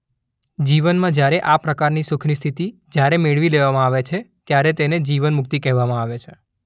જીવનમાં જ્યારે આ પ્રકારના સુખની સ્થિતિ જ્યારે મેળવી લેવામાં આવે છે ત્યારે તેને જીવન મુક્તિ કહેવામાં આવે છે.